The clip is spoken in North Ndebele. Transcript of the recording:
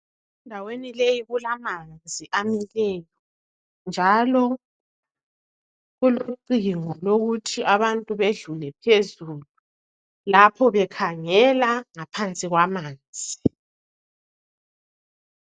Endaweni le kulamanzi amileyo njalo kulocingo lokuthi abantu badlule phezulu lapho bekhangela ngaphansi kwamanzi.